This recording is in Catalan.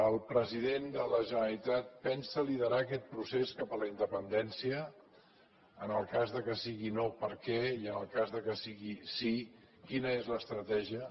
el president de la generalitat pensa liderar aquest procés cap a la independència en el cas que sigui no per què i en el cas que sigui sí quina és l’estratègia